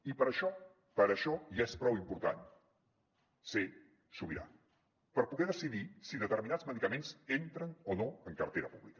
i per això per això ja és prou important ser sobirà per poder decidir si determinats medicaments entren o no en cartera pública